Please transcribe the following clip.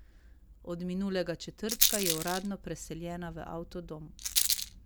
Od minulega četrtka je uradno preseljena v avtodom.